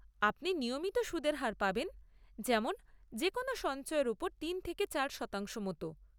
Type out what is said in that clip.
আপনি নিয়মিত সুদের হার পাবেন, যেমন যে কোনো সঞ্চয়ের উপর তিন থেকে চার শতাংশ মতো।